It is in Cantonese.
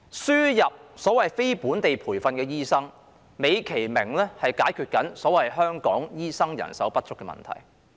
輸入所謂非本地培訓醫生，美其名是解決所謂香港醫生人手不足的問題。